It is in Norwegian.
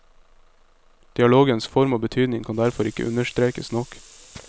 Dialogens form og betydning kan derfor ikke understrekes nok.